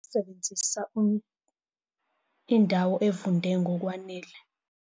Sebenzisa indawo evunde ngokwanele.